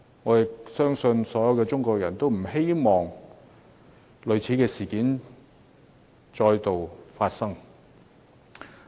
我相信所有中國人都不希望類似事件再發生。